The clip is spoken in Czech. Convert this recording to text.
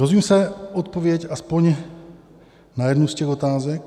Dozvím se odpověď alespoň na jednu z těch otázek?